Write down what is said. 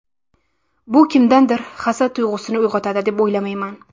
Bu kimdadir hasad tuyg‘usini uyg‘otadi deb o‘ylamayman.